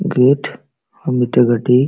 gate ᱟᱨ ᱢᱤᱫᱴᱮᱡ ᱜᱟᱹᱰᱤ --